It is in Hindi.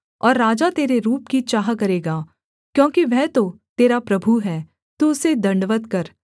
और राजा तेरे रूप की चाह करेगा क्योंकि वह तो तेरा प्रभु है तू उसे दण्डवत् कर